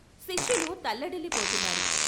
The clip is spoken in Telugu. శిష్యులు తల్లడిల్లి పోతున్నారు.